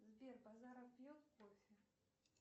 сбер базаров пьет кофе